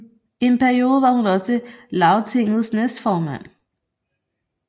En periode var hun også Lagtingets næstformand